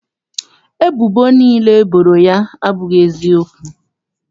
Ebubo niile e boro ya abụghị eziokwu.